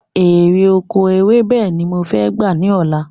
Èrè oko ewébè ni mo fẹ́ gbà ni ọ̀la